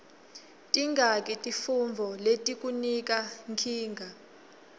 tingaki tifuntfo letikunika nkinga